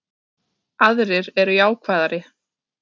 Aðrir eru jákvæðari